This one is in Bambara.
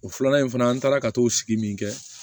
O filanan in fana an taara ka t'o sigi min kɛ